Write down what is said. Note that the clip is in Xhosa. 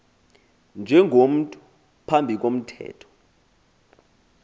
njengomntu phambi komthetho